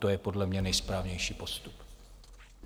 To je podle mě nejsprávnější postup.